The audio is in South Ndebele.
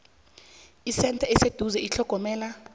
isentha eseduze yethlogomelo